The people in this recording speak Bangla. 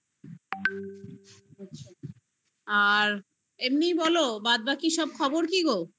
আর এমনিই বলো বাদ বাকি সব খবর কি গো?